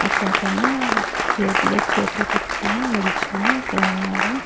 ఒకతను జేబులో చేతులు పెట్టుకొని నిలుచోని ఇక్కడ ఉన్నాడు.